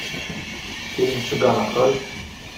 фильм цыган открой